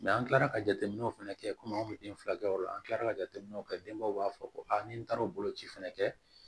an kilala ka jateminɛw fɛnɛ kɛ komi anw be den fila kɛ yɔrɔ la an kilala ka jateminɛw kɛ denbaw b'a fɔ ko aa ni taara o boloci fɛnɛ kɛ